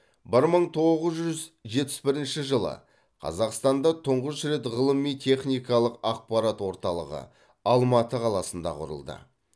бір мың тоғыз жүз жетпіс бірінші жылы қазақстанда тұңғыш рет ғылыми техникалық ақпарат орталығы алматы қаласында құрылды